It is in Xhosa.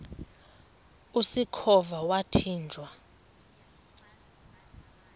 usikhova yathinjw a